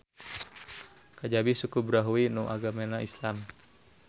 Kajabi suku Brahui nu agemana Islam.